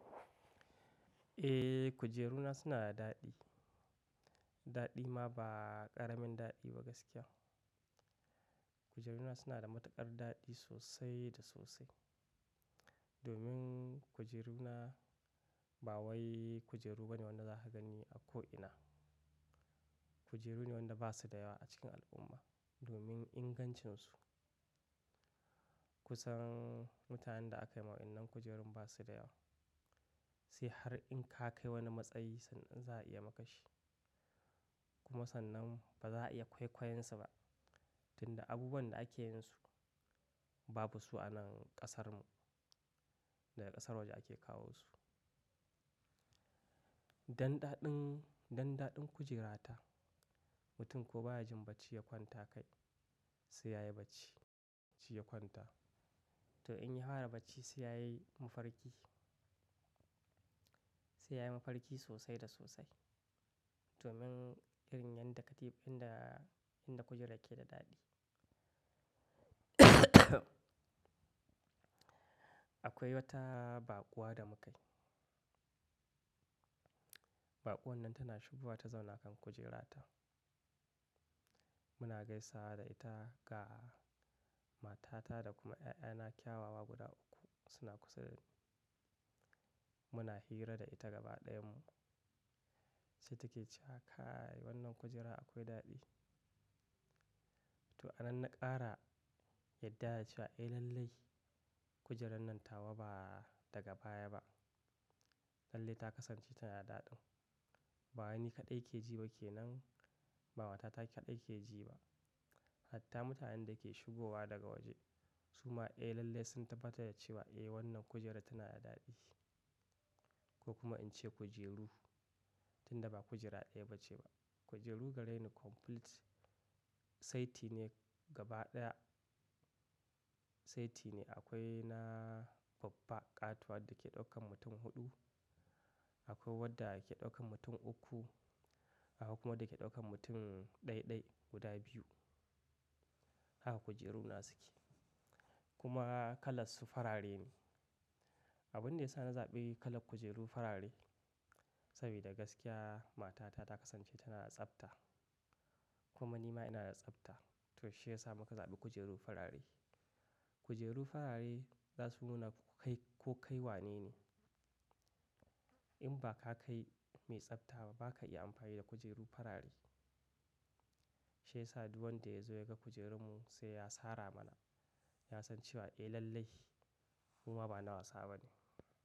Eh, kujeruna suna da daɗi, Daɗi ma ba ƙaramin daɗi ba gaskiya. Kujeruna suna da matuƙar daɗi sosai da sosai. Domin kujeruna, ba wai kujeru bane wanda zaka gani a ko ina. Kujeru ne wanda basu da yawa a cikin al'umma, domin ingancinsu. Kusan, mutanen da aka yi ma wa'innan kujerun basu da yawa. Sai har in ka kai wani matsayi sannan za a iya maka shi. Kuma sannan ba za a iya kwaikwayonsu ba, tunda abubuwan da ake yin su, babu su a nan ƙasarmu. Daga ƙasar waje ake kawo su. Dan daɗin, dan daɗin kujerata, mutum ko baya jin bacci ya kwanta kai, sai yayi bacci, shi ya kwanta. To in ya fara bacci sai yayi mafarki, sai yayi mafarki sosai da sosai. Domin, irin yadda katifunda, inda kujerar ke da daɗi. Akwai wata baƙuwa da muka yi, Baƙuwan nan tana shigowa ta zauna kan kujerata, Muna gaisawa da ita, ga matata da kuma 'ya'yana kyawawa guda uku, suna kusa da mu. Muna hira da ita gaba ɗayanmu. Sai take cewa "Kai wannan kujera akwai daɗi." To a nan na ƙara, yarda da cewa "Eh lallai kujerar nan tawa ba daga baya ba. Lallai ta kasance tana da daɗi." Ba wai ni kaɗai ke ji ba ke nan, ba matata kaɗai ke ji ba, hatta mutanen da ke shigowa daga waje, su ma eh lallai sun tabbatar da cewa eh wannan kujerar tana da daɗi. Ko kuma in ce kujeru, tunda ba kujera ɗaya bace ba. Kujeru gare ni complete, saiti ne gaba ɗaya. Saiti ne, akwai na babba ƙatuwa da ke ɗaukan mutum huɗu, akwai wadda ke ɗaukan mutum uku, akwai kuma wadda ke ɗaukan mutum ɗai-ɗai guda biyu, Haka kujeruna suke. Kuma kalansu farare ne. Abin da ya sa na zaɓi kalar kujeru farare, saboda gaskiya matata ta kasance tana da tsafta, kuma ni ma ina da tsafta, to shi ya sa muka zaɓi kujeru farare. Kujeru farare, za su nuna ko kai, ko kai wane ne. In ba ka kai mai tsafta ba, baka iya amfani da kujeru farare. Shi ya sa du wanda ya zo ya ga kujerunmu sai ya sara mana. Ya san cewa eh lallai, mu ma ba na wasa ba ne.